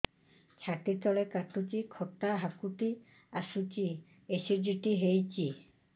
ଛାତି ତଳେ କାଟୁଚି ଖଟା ହାକୁଟି ଆସୁଚି ଏସିଡିଟି ହେଇଚି